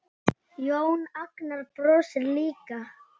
Jón Agnar brosir líka.